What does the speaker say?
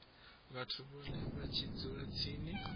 vhathu vhane vha dzula tsini